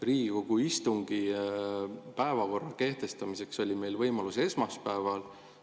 Riigikogu istungi päevakorra kehtestamiseks oli meil võimalus esmaspäeval.